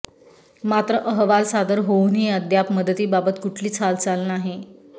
मात्र अहवाल सादर होऊनही अद्याप मदतीबाबत कुठलीच हालचाल नाही